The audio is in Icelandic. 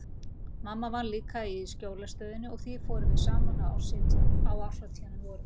Mamma vann líka í Sjólastöðinni og því fórum við saman á árshátíðina um vorið.